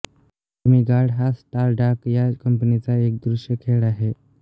demigod हा Stardock या कंपनीचा एक दृश्य खेळ आहे